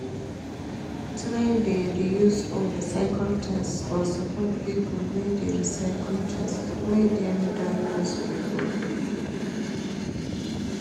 Try de reuse or recycle things or support pipo wey de recyle things wey dem don use before